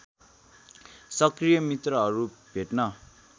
सक्रिय मित्रहरू भेट्न